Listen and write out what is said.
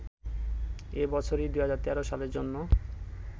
এ বছরই ২০১৩ সালের জন্য